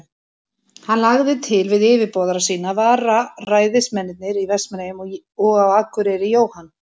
Hann lagði til við yfirboðara sína, að vararæðismennirnir í Vestmannaeyjum og á Akureyri, Jóhann